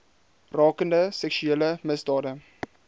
rakende seksuele misdade